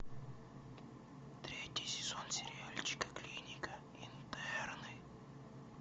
третий сезон сериальчика клиника интерны